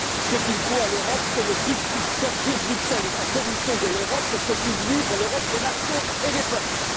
Ce qu'il faut à l'Europe, c'est le Bruxit, sortir Bruxelles et sa Commission de l'Europe pour que puissent vivre l'Europe des nations et des peuples.